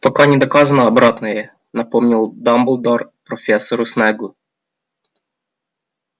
пока не доказано обратное напомнил дамблдор профессору снеггу